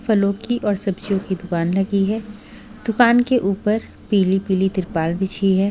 फलो की और सब्जियों की दूकान लगी हुई है दूकान के ऊपर पिली-पिली त्रिपाल बिछी है।